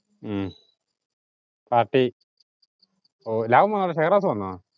ഉം party ഉം ലവൻ വന്നോ ഷെഹ്‌റാസ് വന്നോ?